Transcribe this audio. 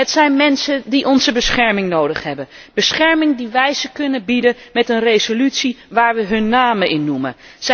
Het zijn mensen die onze bescherming nodig hebben, bescherming die wij hen kunnen bieden met een resolutie waarin wij hun namen noemen.